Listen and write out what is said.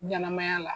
Ɲɛnɛmaya la